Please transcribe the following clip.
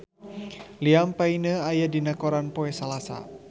Liam Payne aya dina koran poe Salasa